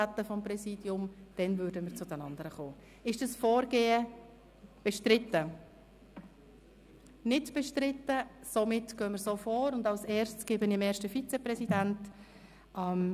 Zuerst reden wir über den Antrag, der von einem Gremium kommt, und stimmen nachher über diesen ab.